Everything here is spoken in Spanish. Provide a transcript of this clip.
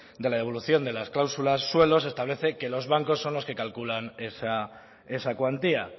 de la devolución de las cláusulas suelo se establece que los bancos son los que calculan esa cuantía